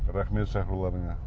рахмет шақыруларыңа